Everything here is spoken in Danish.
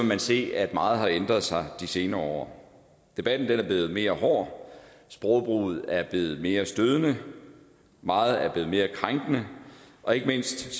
man se at meget har ændret sig de senere år debatten er blevet mere hård sprogbrugen er blevet mere stødende meget er blevet mere krænkende og ikke mindst